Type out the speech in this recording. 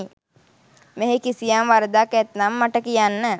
මෙහි කිසියම් වරදක් ඇත්නම් මට කියන්න.